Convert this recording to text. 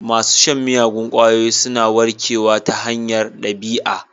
Masu shan miyagun ƙwayoyi suna warkewa ta hanyar ɗabi'a.